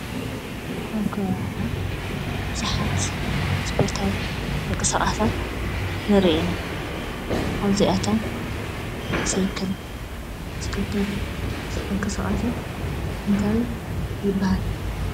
ኣብ ከባቢና ብዙሓት ስፖርታዊ ምቅስቃሳት ንሪኢ ኢና ።ካብዚኣቶም ብሳይክል ዝግበር ምቅስቃስ እንታይ ይበሃል ?